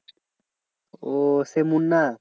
ওহ সেই মুন্না?